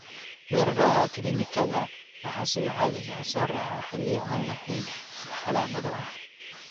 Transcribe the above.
Weerarada kiliinikada waxaa sida caadiga ah soo raaca xilliyo aan lahayn wax calaamado ah (caafimaad).